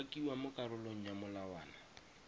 umakiwa mo karolong ya molawana